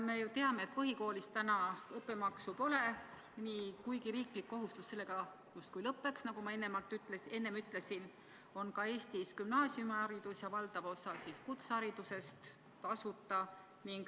Me ju teame, et põhikoolis õppemaksu pole ja kuigi riiklik kohustus sellega justkui lõppeks, on ka gümnaasiumiharidus ja valdav osa kutseharidusest Eestis tasuta.